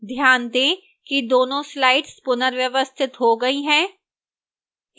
ध्यान दें कि दोनों slides पुनर्व्यवस्थित हो गई हैं